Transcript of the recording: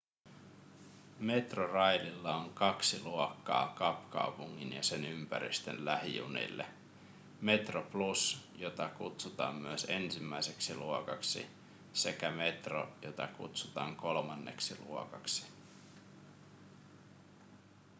metroraililla on kaksi luokkaa kapkaupungin ja sen ympäristön lähijunille: metroplus jota kutsutaan myös ensimmäiseksi luokaksi sekä metro jota kutsutaan kolmanneksi luokaksi